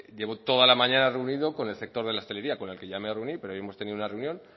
llevo toda la mañana reunido con el sector de la hostelería con el que ya me reuní pero hoy hemos tenido una reunión